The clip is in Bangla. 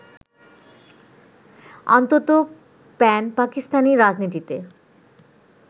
অন্তত প্যান-পাকিস্তানি রাজনীতিতে